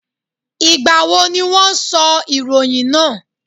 Ìgbà wo ni wọ́n sọ ìròyìn náà?